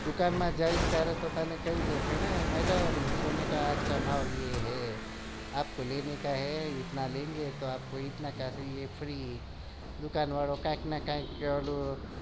દુકાન માં જઈશ ત્યારે કઈ દેશે madam સોને કા ભાવ એ હે